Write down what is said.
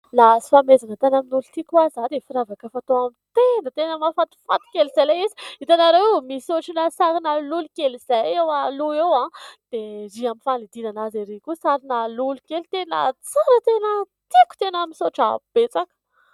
Nahazo fanomezana tany amin'ny olon-tiako aho zao dia firavaka fatao amin'ny tenda. Tena mahafatifaty kely izay ilay izy. Hitanareo misy ohatrin'ny sarin'ny lolo kely izay eo aloha eo dia ery amin'ny fanidina azy ery koa sarin'ny lolo kely tena tsara, tena tiako, tena misoatra betsaka.